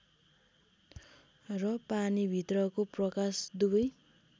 र पानीभित्रको प्रकाश दुवै